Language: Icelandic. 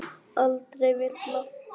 Aldrei villa.